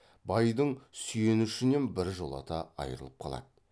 байдың сүйенішінен біржолата айрылып қалады